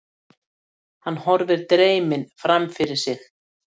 Hann horfir dreyminn framfyrir sig.